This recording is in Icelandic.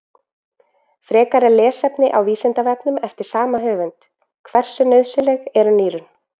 Frekara lesefni á Vísindavefnum eftir sama höfund: Hversu nauðsynleg eru nýrun?